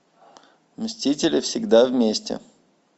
мстители всегда вместе